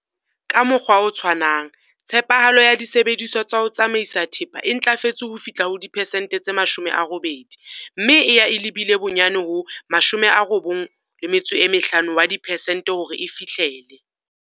Ka mokgwa o tshwanang, tshepahalo ya disebediswa tsa ho tsamaisa thepa e ntlafetse ho fihla ho diperesente tse 80 mme e ya e lebile bonyane ho 95 wa dipesente hore e fihlele.